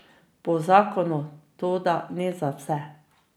Po zakonu, toda ne za vse.